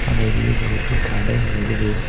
அரை வீடு இருக்கு கடை இருக்குது.